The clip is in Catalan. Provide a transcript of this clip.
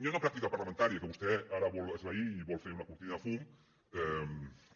hi ha una pràctica parlamentària que vostè ara vol esvair i vol fer una cortina de fum